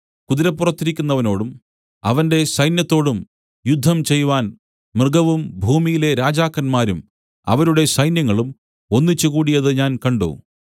കുതിരപ്പുറത്തിരിക്കുന്നവനോടും അവന്റെ സൈന്യത്തോടും യുദ്ധം ചെയ്‌വാൻ മൃഗവും ഭൂമിയിലെ രാജാക്കന്മാരും അവരുടെ സൈന്യങ്ങളും ഒന്നിച്ച് കൂടിയത് ഞാൻ കണ്ട്